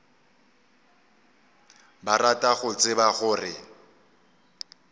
ba rata go tseba gore